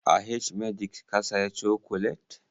A h-medix ka saya cokolet?